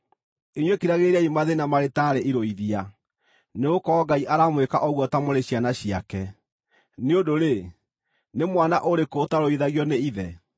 Inyuĩ kiragĩrĩriai mathĩĩna marĩ taarĩ irũithia; nĩgũkorwo Ngai aramwĩka ũguo ta mũrĩ ciana ciake. Nĩ ũndũ-rĩ, nĩ mwana ũrĩkũ ũtarũithagio nĩ ithe?